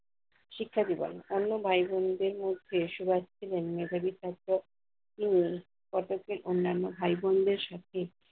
শিক্ষা দিবেন। অন্য ভাই-বোন দের মধ্যে সুভাষ ছিলেন মেধাবী ছাত্র। তিনি কটকের অন্যান্য ভাই-বোন দের সাথে